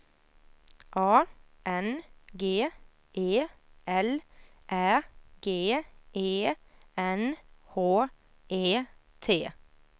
A N G E L Ä G E N H E T